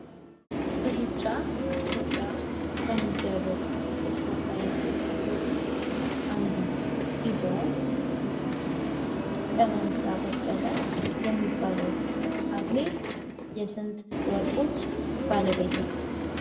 ሩጫ ኢትዮጵያ ዉስጥ ከሚደረጉ የስፖርታዊ እንቅስቃሴዎች ዉስጥ አንዱ ሲሆን ቀነኒሳ በቀለ የሚባለው አትሌት የስንት ወርቆች ባለቤት ነው?